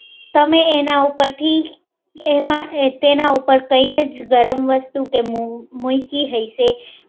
તમે એના ઉપર કંઈ ગરમ વસ્તુ મૂકી હયસે